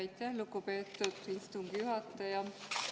Aitäh, lugupeetud istungi juhataja!